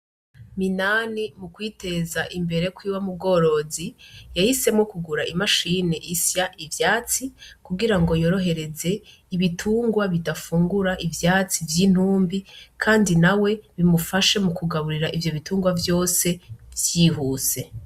Minani mu kwiteza imbere kwiwe mubworozi yahisemwo kugura imashine isya ivyatsi, kugira yorohereze ibitungwa bidafungura ivyatsi vy'intumbi kandi nawe bimufashe mukugaburira ivyo bitungwa vyose vyihuse.